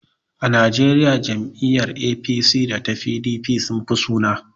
A Najeriya jam'iyyar APC da ta PDP sun fi sanuwa.